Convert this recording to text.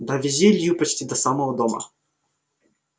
довезли илью почти до самого дома